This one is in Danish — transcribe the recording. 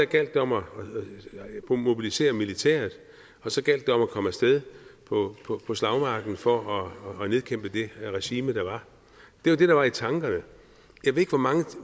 gjaldt om at mobilisere militæret og så gjaldt det om at komme af sted på slagmarken for at nedkæmpe det regime der var det var det der var i tankerne jeg ved ikke hvor mange